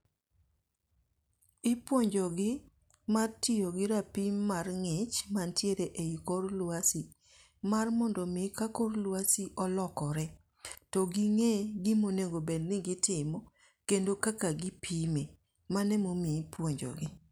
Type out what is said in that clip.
Ipuonjogi mar tiyo gi rapim mar ngích man tiere ei kor lwasi. Mar mondo omi ka kor lwasi olokore, to gingée gima onego bed ni gitimo, kendo kaka gipime. Mano ema omiyo ipuonjogi.